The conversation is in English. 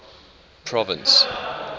province